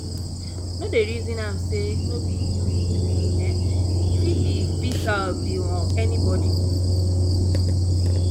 no dey resin am sey no be you e do um e fit be fit be um anybodi